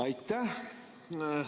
Aitäh!